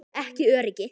Ekki öryggi.